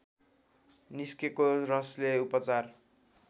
निस्केको रसले उपचार